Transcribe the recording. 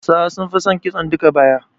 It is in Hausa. Hausawa sun fi son kitson duka-baya